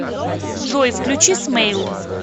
джой включи смейл